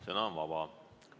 Sõna on vaba.